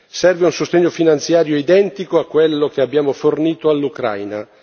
Serve un sostegno finanziario identico a quello che abbiamo fornito all'Ucraina.